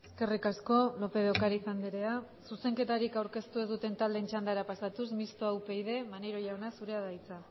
eskerrik asko lópez de ocariz andrea zuzenketarik aurkeztu ez duten taldeen txandara pasatuz mistoa upyd maneiro jauna zurea da hitza